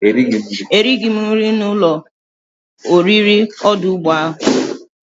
Erighi m nri na ulo oriri odu ugbo ahu.